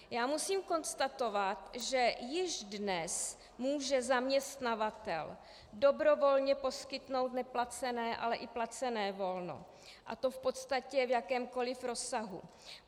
Já musím konstatovat, že již dnes může zaměstnavatel dobrovolně poskytnout neplacené, ale i placené volno, a to v podstatě v jakémkoli rozsahu.